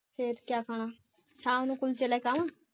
ਫਿਰ ਕਿਆ ਖਾਣਾ ਸ਼ਾਮ ਨੂੰ ਕੁਲਚੇ ਲੈ ਕੇ ਆਵਾ